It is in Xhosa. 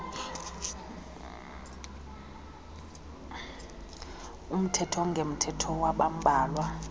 omthetho ongemthetho wabambalwa